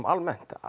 almennt